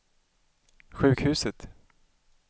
sjukhuset